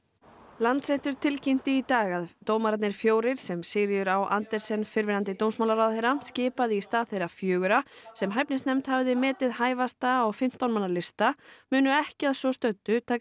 Landsréttur tilkynnti í dag að dómararnir fjórir sem Sigríður á Andersen fyrrverandi dómsmálaráðherra skipaði í stað þeirra fjögurra sem hæfnisnefnd hafði metið hæfasta á fimmtán manna lista munu ekki að svo stöddu taka